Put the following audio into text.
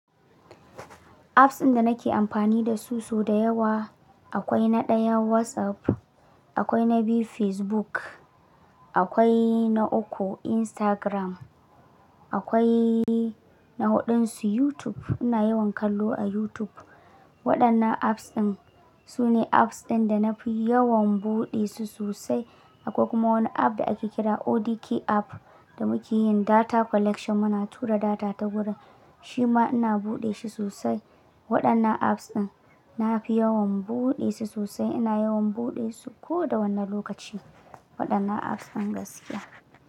Apps ɗin da nake amfani da su sau da yawa akwai na ɗaya WhatsApp, akwai na biyu Facebook, akwai na uku Instagram, akwai na huɗun su YouTube. Ina yawan kallo a YouTube. Waɗannan apps ɗin su ne apps ɗin da na fi yawan buɗe su sosai. Akwai kuma wani app da ake kira ODK app da muke yin data collection muna tura data ta gurin. Shi ma ina buɗe shi sosai. Waɗannan apps ɗin na fi yawan buɗe su sosai. Ina yawan buɗe su ko da wane lokaci. Waɗannan apps ɗin gaskiya.